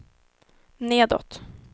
nedåt